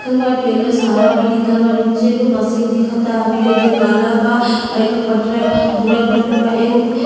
लिखल बा टेलर्स हरा में लिखल बा‌। नीचे एगो मशीन दिखता हमके जो काला बा एकर पटरा भूरा कलर के बा। एगो --